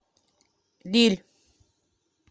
виль